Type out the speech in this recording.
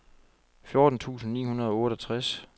fjorten tusind ni hundrede og otteogtres